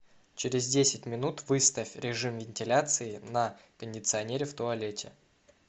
через десять минут выставь режим вентиляции на кондиционере в туалете